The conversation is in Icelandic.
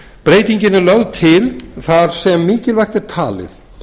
breytingin er lögð til þar sem mikilvægt er talið